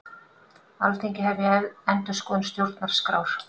Alþingi hefji endurskoðun stjórnarskrár